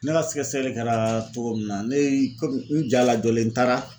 Ne ka sɛgɛsɛli kɛra cogo min na ne ye komi n jalajɔlen n taara